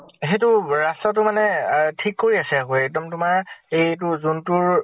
সেইটো ৰাস্তাটো মানে আহ ঠিক কৰি আছে আকৌ। এক্দম তোমাৰ এইটো যোনটোৰ